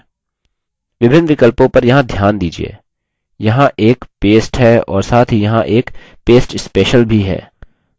विभिन्न विकल्पों पर यहाँ ध्यान दीजिये यहाँ एक paste है और साथ ही यहाँ एक paste special भी है